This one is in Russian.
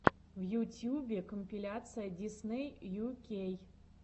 в ютьюбе компиляция дисней ю кей